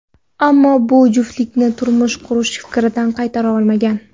Ammo bu juftlikni turmush qurish fikridan qaytara olmagan.